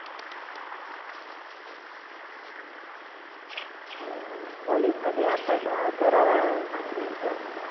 college मध्ये आपण अं शरारा घातला होता.